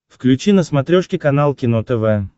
включи на смотрешке канал кино тв